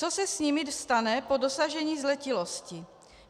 Co se s nimi stane po dosažení zletilosti?